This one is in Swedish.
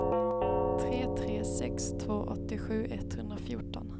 tre tre sex två åttiosju etthundrafjorton